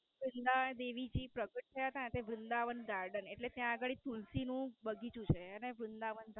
તહીં ના દેવી પ્રગટ થયા થા તે વૃંદાવન Garden એટલે તા અગાળી તુલસી નું બાગીછું છે એટલે વૃંદાવન ધામ.